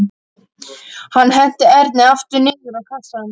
Hann henti Erni aftur niður á kassann.